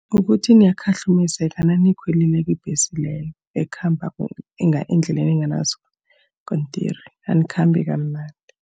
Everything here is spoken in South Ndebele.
Kukuthi niyakhahlumezeka naniyikhwelileko ibhesi leyo ekhamba endleleni enganasikontiri. Anikhambi kamnandi.